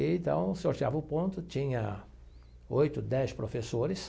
E então, sorteava o ponto, tinha oito, dez professores.